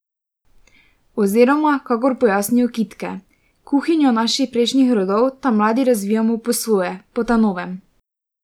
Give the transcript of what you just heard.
Oziroma kakor pojasnijo kitke: "Kuhinjo naših prejšnjih rodov ta mladi razvijamo po svoje, po ta novem!